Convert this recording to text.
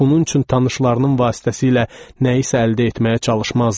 Bunun üçün tanışlarının vasitəsilə nəyisə əldə etməyə çalışmazdı.